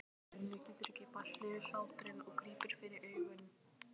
Svenni getur ekki bælt niðri hláturinn og grípur fyrir augun.